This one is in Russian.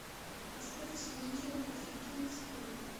поставь исполнителя фатхетдинов салават